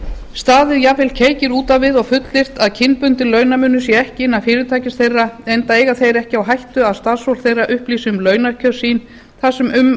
staðið jafnvel keikir út á við og fullyrt að kynbundinn launamunur sé ekki innan fyrirtækis þeirra enda eiga þeir ekki á hættu að starfsfólk þeirra upplýsi um launakjör sín þar sem um